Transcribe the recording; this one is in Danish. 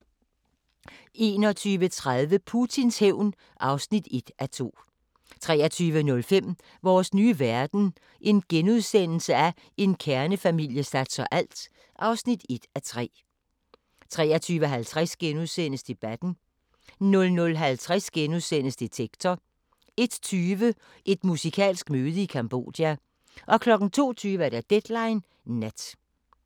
21:30: Putins hævn (1:2) 23:05: Vores nye verden – en kernefamilie satser alt (1:3)* 23:50: Debatten * 00:50: Detektor * 01:20: Et musikalsk møde i Cambodja 02:20: Deadline Nat